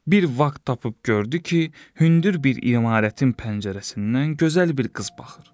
Bir vaxt tapıb gördü ki, hündür bir imarətin pəncərəsindən gözəl bir qız baxır.